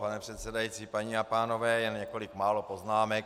Pane předsedající, paní a pánové, jen několik málo poznámek.